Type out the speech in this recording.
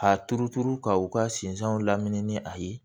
A turuturu ka u ka sinsɛnw lamini ni a ye